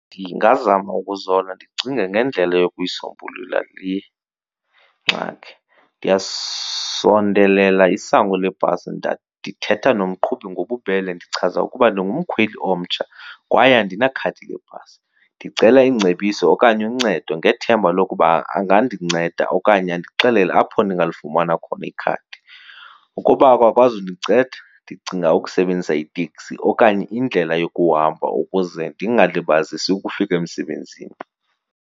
Ndingazama ukuzola ndicinge ngendlela yokuyisombulula le ngxaki. Ndiyasondelela isango lebhasi ndithetha nomqhubi ngobubele ndichaza ukuba ndingumkhweli omtsha kwaye andinakhadi lebhasi. Ndicela iingcebiso okanye uncedo ngethemba lokuba angandinceda okanye andixelele apho ndingalifumana khona ikhadi. Ukuba akakwazi undinceda ndicinga ukusebenzisa iteksi okanye indlela yokuhamba ukuze ndingalibazisi ukufika emsebenzini.